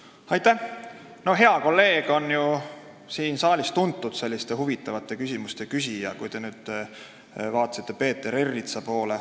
Kui te pidasite silmas Peeter Ernitsat, siis see hea kolleeg on ju siin saalis tuntud kui huvitavate küsimuste küsija.